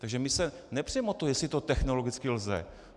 Takže my se nepřeme o to, jestli to technologicky lze.